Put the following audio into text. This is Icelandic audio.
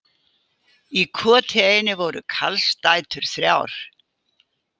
Í koti einu voru karlsdætur þrjár.